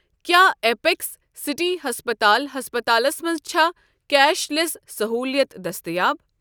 کیٛاہ apex city ہسپتال ہسپتالَس منٛز چھےٚ کیش لیس صحولیت دٔستیاب؟